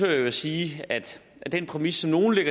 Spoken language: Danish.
jeg at sige at den præmis som nogle